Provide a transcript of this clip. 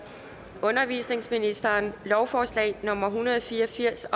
undervisningsministeren lovforslag nummer l en hundrede og fire og firs